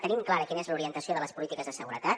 tenim clara quina és l’orientació de les polítiques de seguretat